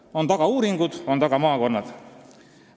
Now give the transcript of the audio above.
Seal taga on uuringud, seal taga on maakonnad.